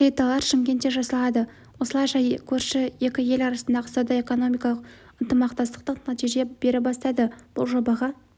плиталар шымкентте жасалады осылайша көрші екі ел арасындағы сауда-экономикалық ынтымақтастық нәтиже бере бастады бұл жобаға